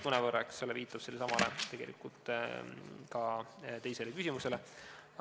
" Mõnevõrra viitab see küsimus ka teisele küsimusele.